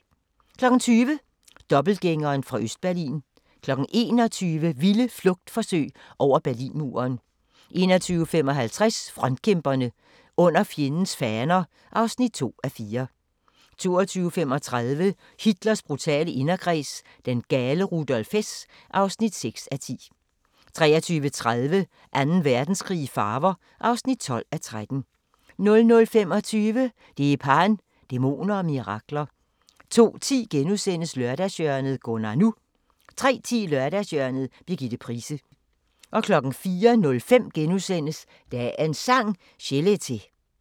20:00: Dobbeltgængeren fra Østberlin 21:00: Vilde flugtforsøg over Berlinmuren 21:55: Frontkæmperne: Under fjendens faner (2:4) 22:35: Hitlers brutale inderkreds – den gale Rudolf Hess (6:10) 23:30: Anden Verdenskrig i farver (12:13) 00:25: Dheepan – Dæmoner og mirakler 02:10: Lørdagshjørnet - Gunnar NU * 03:10: Lørdagshjørnet – Birgitte Price 04:05: Dagens Sang: Chelete *